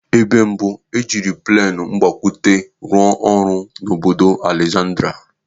Ebe mbụ e jiri plenụ mgbakwute rụọ ọrụ bụ n'obodo Alexandria.